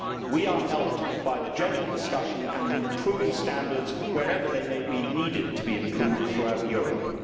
We are helped by general discussion and improving standards wherever they may need to be improved, throughout Europe.